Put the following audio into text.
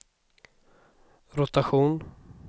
rotation